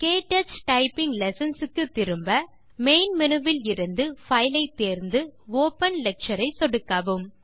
க்டச் typing lessons க்கு திரும்ப main menu விலிருந்து பைல் ஐ தேர்ந்து ஒப்பன் லெக்சர் ஐ சொடுக்கவும்